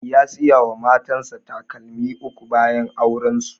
Ya saya wa matan sa takalmi uku bayan auren su